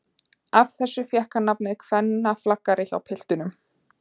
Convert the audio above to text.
Af þessu fékk hann nafnið kvennaflagari hjá piltunum.